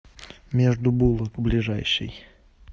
между булок ближайший